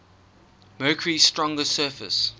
mercury's stronger surface